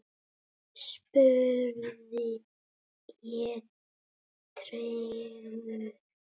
spurði ég tregur.